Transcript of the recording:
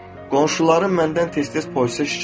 Qonşuların məndən tez-tez polisə şikayət edirlər.